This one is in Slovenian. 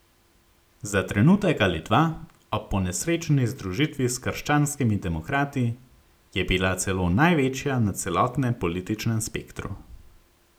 Za trenutek ali dva, ob ponesrečeni združitvi s krščanskimi demokrati, je bila celo največja na celotnem političnem spektru.